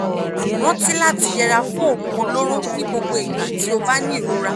rántí láti yẹra fún oògùn olóró ní gbogbo ìgbà tó o bá ní ìrora